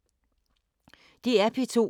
DR P2